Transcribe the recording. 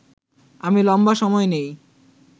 আমি লম্বা সময় নেই